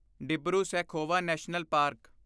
Dibru Saikhowa national park